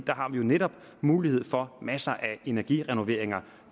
der har vi jo netop mulighed for masser af energirenoveringer